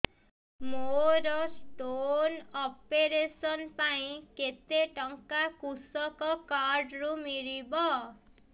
ମୋର stone operation ପାଇଁ କେତେ ଟଙ୍କା କୃଷକ କାର୍ଡ ରୁ ମିଳିବ